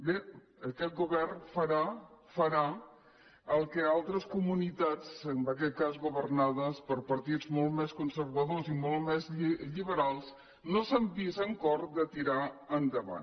bé aquest govern farà el que altres comunitats en aquest cas governades per partits molt més conservadors i molt més lliberals no s’han vist amb cor de tirar endavant